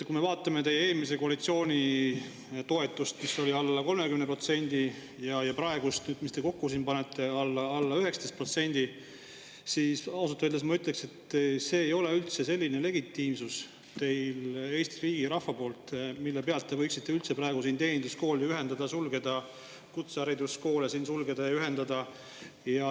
Kui me vaatame teie eelmise koalitsiooni toetust, mis oli alla 30%, ja praeguse, mis te kokku panete – alla 19% –, siis ausalt öeldes ma ütleksin, et teil ei ole sellist legitiimsust, Eesti riigi ja rahva, mille pealt te võiksite üldse praegu teeninduskoole ühendada ja sulgeda, kutsehariduskoole sulgeda ja ühendada.